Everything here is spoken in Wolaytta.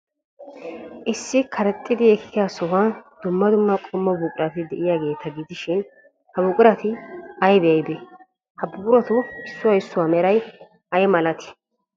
Issi karexxi ekkiyaa sohuwan dumma dumma qommo buqurati de'iyaageeta gidishin, ha buqurati aybee aybee? Ha buquratu issuwa issuwa meray ay malatii?